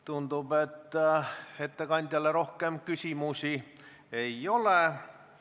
Tundub, et ettekandjale rohkem küsimusi ei ole.